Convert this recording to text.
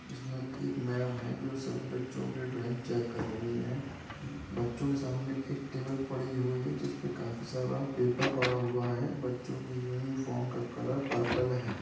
इसमें एक मैम है जो सभी बच्चों की ड्राइंग चैक कर रही है। बच्चों के सामने एक टेबल पड़ी हुई है जिसपे काफी सारा पेपर पड़ा हुआ हैं। बच्चों की यूनिफॉर्म का कलर पर्पल है।